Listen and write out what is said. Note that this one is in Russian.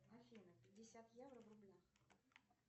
афина пятьдесят евро в рублях